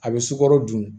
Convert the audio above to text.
A bɛ sukaro dun